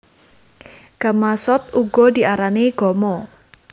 Gamasot uga diarani gama